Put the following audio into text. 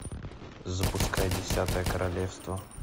запускай десятое королевство